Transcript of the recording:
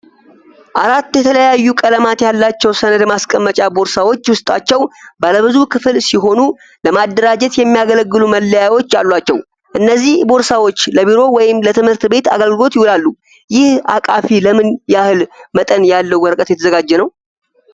አራት የተለያዩ ቀለማት ያላቸው ሰነድ ማስቀመጫ ቦርሳዎች ውስጣቸው ባለ ብዙ ክፍል ሲሆኑ ለማደራጀት የሚያገለግሉ መለያዎች አሏቸው። እነዚህ ቦርሳዎች ለቢሮ ወይም ለትምህርት ቤት አገልግሎት ይውላሉ። ይህ አቃፊ ለምን ያህል መጠን ያለው ወረቀት የተዘጋጀ ነው?